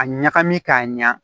A ɲagami k'a ɲa